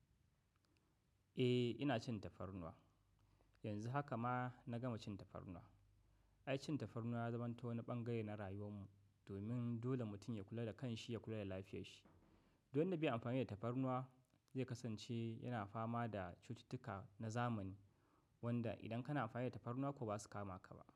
Eh, ina cin tafarnuwa. Yanzu haka ma na gama cin tafarnuwa. Ai, cin tafarnuwa ya zamanto wani ɓangare na rayuwar mu, domin dole mutum ya kula da kanshi, ya kula da lafiyar shi. Don na biya amfani da tafarnuwa, zai kasance yana fama da cututtuka na zamani, wanda idan kana amfani da tafarnuwa kuwa ba su kama ka ba.